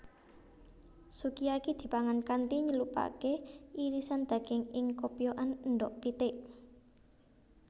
Sukiyaki dipangan kanthi nyelupake irisan daging ing kopyokan endhog pitik